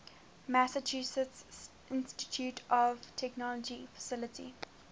massachusetts institute of technology faculty